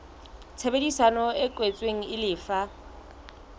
tshebedisano e kwetsweng e lefa